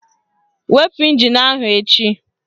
Wepu ịnjin ahụ echi!